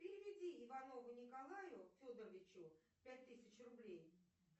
переведи иванову николаю федоровичу пять тысяч рублей